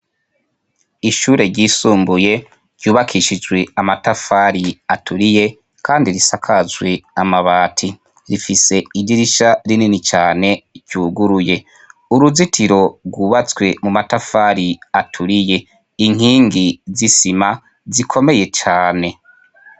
Ishure ryisumbuye ryubakishijwe amatafari aturiye, kandi risakazwe amabati rifise idirisha rinini cane ryuguruye uruzitiro rwubatswe mu matafari aturiye inkingi zisima zikomeye cane.